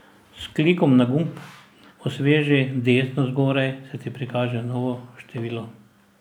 S klikom na gumb osveži desno zgoraj se ti prikaže novo število.